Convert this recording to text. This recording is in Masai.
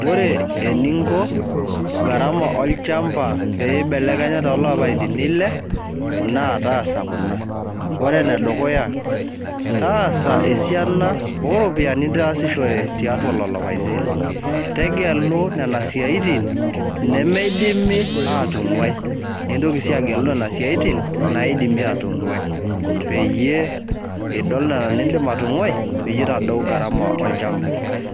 Ore eninko, gharama olchamba peibelekenya tolapaitin ile, naa taasa kuna. Ore enedukuya, taasa esiana oropiyiani nitaasishore tiatua lolo apatin ile. Tegelu nena siaitin nemeidimi atung'uai. Nintoki si agelu nena siaitin, naidimi atung'uai. Peyie idol nena nidim atung'uai, pitadou gharama olchamba.